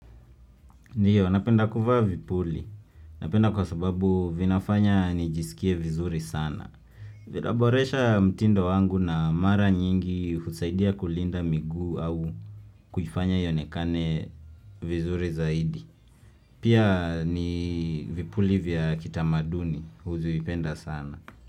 Ndiyo, napenda kuvaa vipuli. Napenda kwa sababu vinafanya nijisikie vizuri sana. Vinaboresha mtindo wangu na mara nyingi husaidia kulinda miguu au kuifanya ionekane vizuri zaidi. Pia ni vipuli vya kitamaduni huvipenda sana.